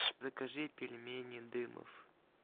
закажи пельмени дымов